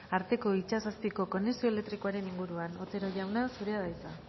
arteko itsas azpiko konexio elektrikoaren inguruan otero jauna zurea da hitza